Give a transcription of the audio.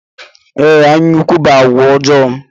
Ee, ányá ukwu bụ àgwà ọjọọ.